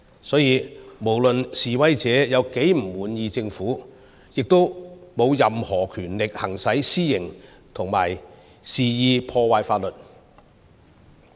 所以，不論示威者如何不滿意政府，亦沒有任何權力行使私刑及肆意破壞法律。